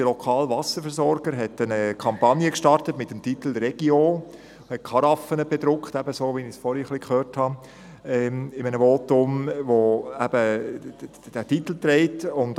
Unser lokaler Wasserversorger hat eine Kampagne mit dem Titel «Regio» gestartet und Karaffen bedruckt, so, wie ich das zuvor in einem Votum gehört habe.